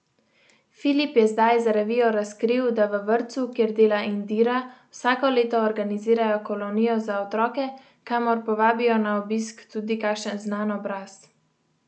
Filip je zdaj za revijo razkril, da v vrtcu, kjer dela Indira, vsako leto organizirajo kolonijo za otroke, kamor povabijo na obisk tudi kakšen znan obraz.